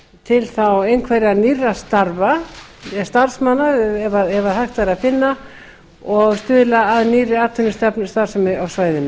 til þá einhverra nýrra starfa starfsmanna ef hægt væri að finna og stuðla að nýrri atvinnustarfsemi á svæðinu